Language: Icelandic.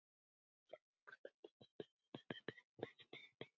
Ég fór út í Garðinn í hádeginu sagði hann.